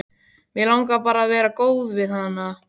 Mig langar bara að vera góð við hana.